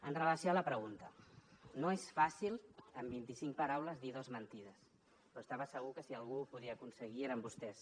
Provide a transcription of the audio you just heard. amb relació a la pregunta no és fàcil en vint i cinc paraules dir dos mentides però estava segur que si algú ho podia aconseguir eren vostès